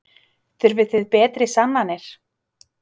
Þurfið þið betri sannanir?